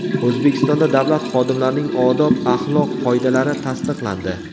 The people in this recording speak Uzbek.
O‘zbekistonda davlat xodimlarining odob-axloq qoidalari tasdiqlandi.